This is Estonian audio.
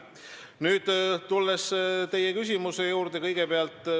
Nüüd tulen teie küsimuse juurde.